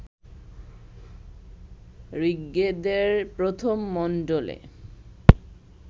ঋগ্বেদের প্রথম মণ্ডলে